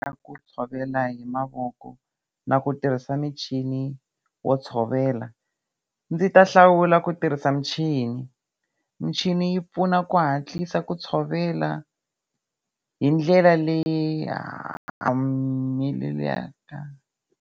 Ka ku tshovela hi mavoko na ku tirhisa michini wo tshovela ndzi ta hlawula ku tirhisa michini. Michini yi pfuna ku hatlisa ku tshovela hindlela leya leyi mmh humelelaka.